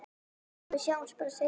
Við sjáumst bara seinna.